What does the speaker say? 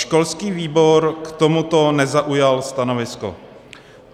Školský výbor k tomuto nezaujal stanovisko.